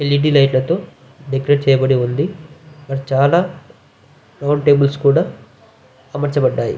L. E. D. Light లతో decorate చేయబడి ఉంది అక్కడ చాలా రౌండ్ టేబల్స్ కూడా అమర్చ బడ్డాయి.